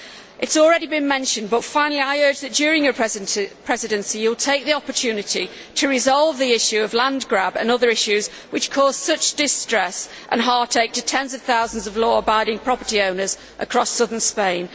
It has already been mentioned, but I urge, finally, that, during your Presidency, Prime Minister, you will take the opportunity to resolve the issue of land grab and other issues which cause such distress and heartache to tens of thousands of law abiding property owners across southern Spain.